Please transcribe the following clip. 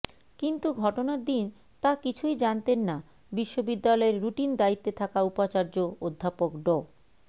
কিন্তু ঘটনার দিন তা কিছুই জানতেন না বিশ্ববিদ্যালয়ের রুটিন দায়িত্বে থাকা উপাচার্য অধ্যাপক ড